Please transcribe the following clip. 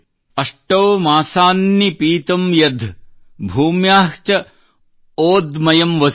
ಅಷ್ಟೌ ಮಾಸಾನ್ ನಿಪೀತಂ ಯದ್ಧ್ ಭೂಮ್ಯಾಃ ಚ ಓದ್ಮಯಮ್ ವಸು